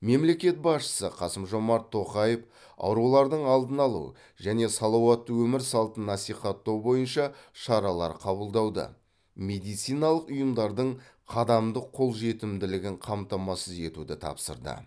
мемлекет басшысы қасым жомарт тоқаев аурулардың алдын алу және салауатты өмір салтын насихаттау бойынша шаралар қабылдауды медициналық ұйымдардың қадамдық қолжетімділігін қамтамасыз етуді тапсырды